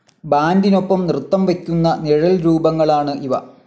ബാൻഡിനൊപ്പം നൃത്തം വെയ്ക്കുന്ന നിഴൽരൂപങ്ങളാണ് ഇവ.